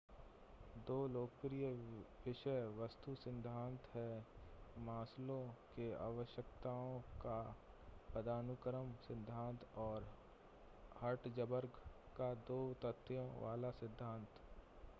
दो लोकप्रिय विषय-वस्तु सिद्धांत हैं मास्लो का आवश्यकताओं का पदानुक्रम सिद्धांत और हर्ट्ज़बर्ग का दो तथ्यों वाला सिद्धांत